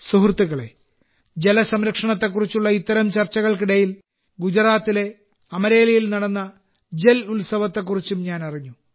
സുഹൃത്തുക്കളേ ജലസംരക്ഷണത്തെക്കുറിച്ചുള്ള ഇത്തരം ചർച്ചകൾക്കിടയിൽ ഗുജറാത്തിലെ അമരേലിയിൽ നടന്ന ജൽ ഉത്സവത്തെപ്പറ്റിയും ഞാൻ അറിഞ്ഞു